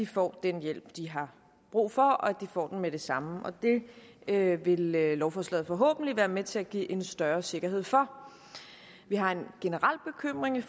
får den hjælp de har brug for og at de får den med det samme det vil lovforslaget forhåbentlig være med til at give en større sikkerhed for vi har en generel bekymring